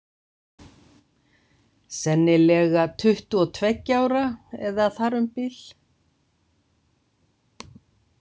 Sennilega tuttugu og tveggja ára eða þar um bil.